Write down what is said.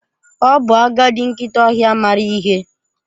Ọ bụ agadi nkịta ọhịa maara ihe.